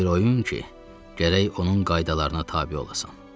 bir oyun ki, gərək onun qaydalarına tabe olasan.